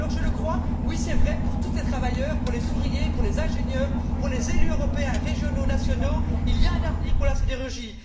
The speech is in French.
Alors, oui, je crois que pour tous les travailleurs, pour les ouvriers, pour les ingénieurs, pour les élus européens régionaux, nationaux, il y a un avenir pour la sidérurgie.